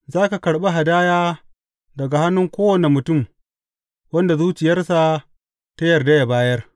Za ka karɓi hadaya daga hannun kowane mutum wanda zuciyarsa ta yarda yă bayar.